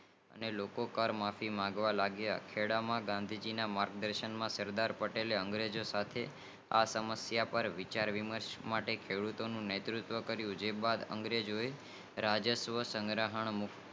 અને લોકો માફી માંગવા લાગીયા ખેડા માં ગાંધી ના માર્ગ દર્શન ના સરકાર પટેલ અંગ્રેજો સાથે આ સમશિયા પર વિચાર વિનાશ માટે ખેડૂતોને નેતુવત્વ કરીયુ તે બાદ અંગ્રેજ આ યશસ્વં સંગ્રહ